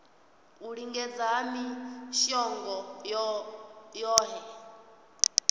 u lingedza ha mishongo yohe